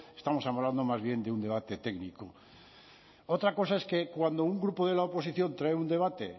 estamos hablando más bien de un debate técnico otra cosa es que cuando un grupo de la oposición trae un debate